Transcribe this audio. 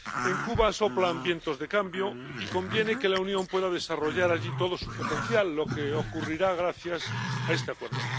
En Cuba soplan vientos de cambio y conviene que la Unión pueda desarrollar allí todo su potencial, lo que ocurrirá gracias a este Acuerdo.